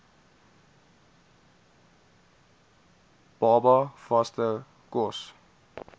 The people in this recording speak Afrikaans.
baba vaste kos